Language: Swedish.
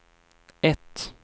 ett